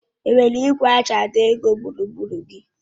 Enwere ìgwè eji àdọ́ ego gburugburu gị?: